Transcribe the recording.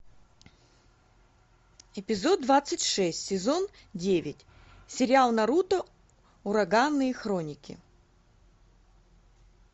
эпизод двадцать шесть сезон девять сериал наруто ураганные хроники